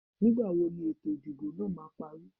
Nígbà wo ni ètò ìdìbò náà máa parí?